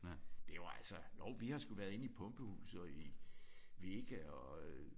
Det var altså jo vi har sgu været inde i Pumpehuset og i i VEGA og øh